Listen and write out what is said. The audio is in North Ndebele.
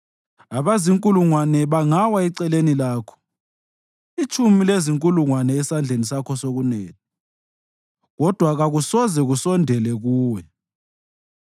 Abazinkulungwane bangawa eceleni lakho; itshumi lezinkulungwane esandleni sakho sokunene, kodwa kakusoze kusondele kuwe.